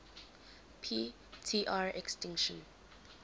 p tr extinction